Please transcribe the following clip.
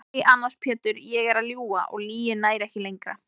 Nei annars Pétur ég er að ljúga og lygin nær ekki lengra.